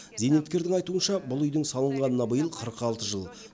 зейнеткердің айтуынша бұл үйдің салынғанына биыл қырық алты жыл